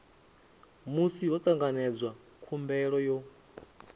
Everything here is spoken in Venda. musi ho tanganedzwa khumbelo yo